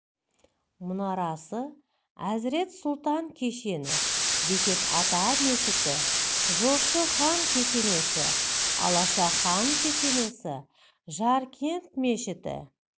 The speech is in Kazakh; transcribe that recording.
мұнарасы әзірет сұлтан кешені бекет ата мешіті жошы хан кесенесі алаша хан кесенесі жаркент мешіті